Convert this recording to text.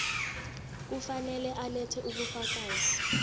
kufanele alethe ubufakazi